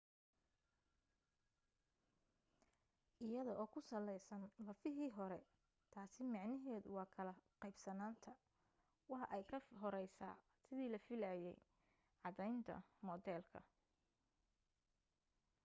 iyada oo ku saleysan lafahii hore taasi micnaheedu waa kala qeybsanaanta waa ay ka horeysaa sidii la filaayay caddeynta moodeelka